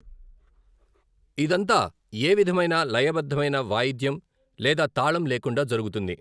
ఇదంతా ఏ విధమైన లయబద్ధమైన వాయిద్యం లేదా తాళం లేకుండా జరుగుతుంది.